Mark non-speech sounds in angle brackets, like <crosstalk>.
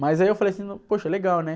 Mas aí eu falei assim, <unintelligible> poxa, legal, né?